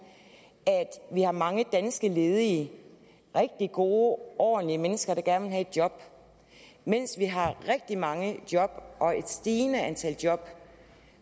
vi har mange danske ledige rigtig gode ordentlige mennesker der gerne vil have et job mens vi har rigtig mange job og et stigende antal job